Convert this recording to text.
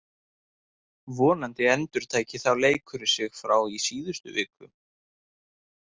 Vonandi endurtæki þá leikurinn sig frá í seinustu viku.